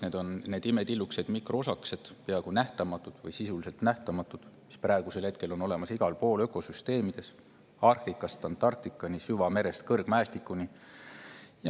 Need on need imetillukesed mikroosakesed, peaaegu nähtamatud või sisuliselt nähtamatud, mis on olemas praegu igal pool ökosüsteemides Arktikast Antarktikani, süvamerest kõrgmäestikuni.